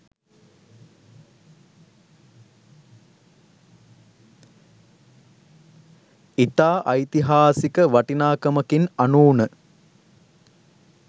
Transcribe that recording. ඉතා ඓතිහාසික වටිනාකමකින් අනූන